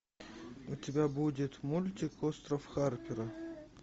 у тебя будет мультик остров харпера